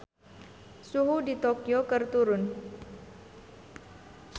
Suhu di Tokyo keur turun